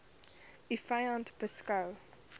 u vyand beskou